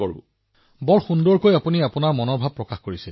অতি উত্তম ধৰণে আপুনি আপোনাৰ অনুভূতি প্ৰকাশ কৰিছে